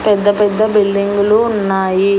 పెద్ద పెద్ద బిల్డింగులు ఉన్నాయి.